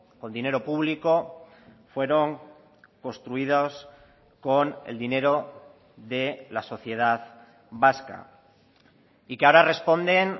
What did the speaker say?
con dinero público fueron construidos con el dinero de la sociedad vasca y que ahora responden